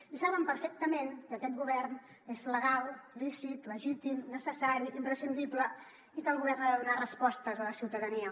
i saben perfectament que aquest govern és legal lícit legítim necessari imprescindible i que el govern ha de donar respostes a la ciutadania